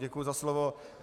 Děkuju za slovo.